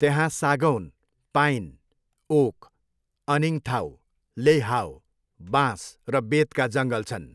त्यहाँ सागौन, pine, oak, अनिङथाउ, लेइहाओ, बाँस र बेतका जङ्गल छन्।